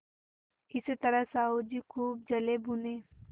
इस तरह साहु जी खूब जलेभुने